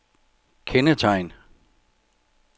kendetegn